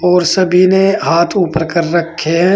और सभी ने हाथ ऊपर कर रखे हैं।